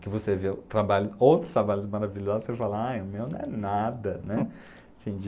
que você vê o trabalho, outros trabalhos maravilhosos, você fala, ah, o meu não é nada, né? Assim de